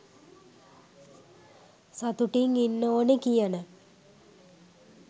සතුටින් ඉන්න ඕනෙ කියන